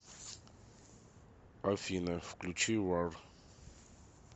афина включить вар